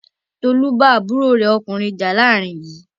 Tolú bá àbúrò rẹ̀ ọkùnrin jà láàárín yìí.